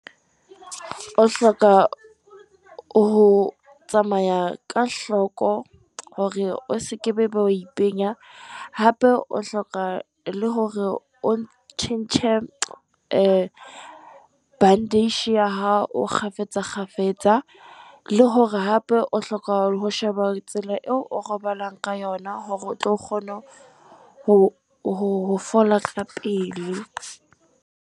O hloka ho tsamaya ka hloko, hore o sekebe wa e penya, hape o hloka le hore o tjhentjhe bandage ya hao kgafetsa kgafetsa, le hore hape o hloka ho sheba tsela eo o robalang ka yona hore o tlo kgona ho ho fola ka pele.